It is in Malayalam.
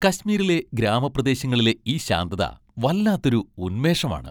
കശ്മീറിലെ ഗ്രാമപ്രദേശങ്ങളിലെ ഈ ശാന്തത വല്ലാത്തൊരു ഉന്മേഷം ആണ്.